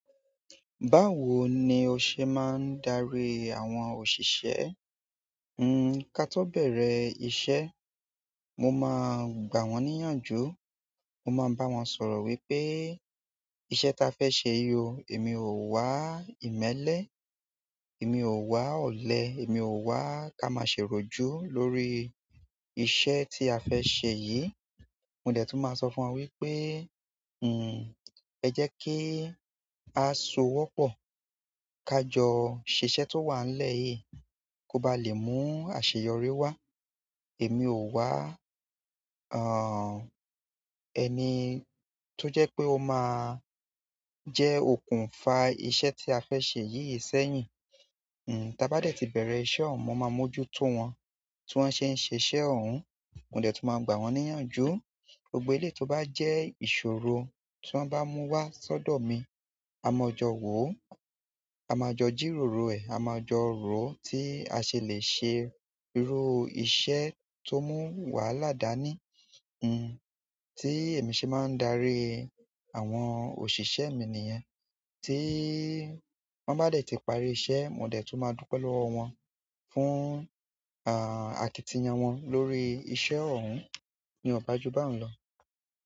Báwo ni o ṣe máa ń darí àwọn òṣìṣẹ́? N, káto bẹ̀rẹ̀ iṣẹ́, mo máa gbà wọ́n níyànjú. Mo máa ń bá wọn sọ̀rọ̀ wípé iṣẹ́ ta fẹ́ ṣe yí o, èmi ò wá ìmẹ́lẹ́, èmi ò wá ọ̀lẹ, èmi ò wá ká máa ṣe oròjú lórí iṣẹ́ tí a fẹ́ ṣe yìí. Mò dẹ́ tún máa sọ fún wọn wípé, n, ẹ jẹ́ kí a sowọ́pọ̀, ká jọ ṣiṣẹ́ tó wànlẹ́ yìí, kó ba lè mú àṣeyọrí wá. Èmi ò wá, a, ẹni tó jẹ́ pé ó máa jẹ́ okùnfà iṣẹ̀ tí a fẹ́ ṣe yìí ṣẹ́yìn. N, tá bá dẹ́ ti bẹ̀rẹ̀ iṣẹ́ ọun, mò máa mójú tó wọn, tí wọ́n ṣe ń ṣiṣẹ́ òun, mò dẹ́ tún máa gbà wọ́n níyànjú. Gbogbo eleyi tó bá jẹ́ ìṣòro tí wọ́n bá mú wá sọ́dọ̀ mi, a máa jọ wò ó, a máa jọ jìróro ẹ̀, a máa jọ ro tí a ṣe lè ṣe irú iṣẹ́ tó mú wála dani. N, tí èmi ṣe máa ń darí àwọn òṣìṣẹ́ mi nìyẹn. Tí wọ́n bá dẹ́ ti parí iṣẹ́, mò dẹ́ tún máa dúpẹ́ lọ́wọ́ wọn fún, a, àkìtìyan wọn lórí iṣẹ́ ọun. Ni o bá jú báun lọ.